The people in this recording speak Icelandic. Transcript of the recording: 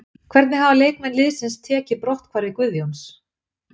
Hvernig hafa leikmenn liðsins tekið brotthvarfi Guðjóns?